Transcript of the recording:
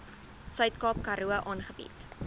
suidkaap karoo aangebied